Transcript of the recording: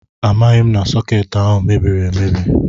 Amaghị m na sọkeetị ahụ mebiri emebi